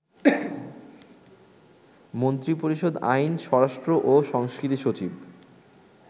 মন্ত্রিপরিষদ, আইন, স্বরাষ্ট্রও সংস্কৃতিসচিব